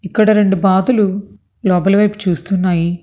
ఇక్కడ రెండు బాతులు లోపలి వైపు చూస్తున్నాయి.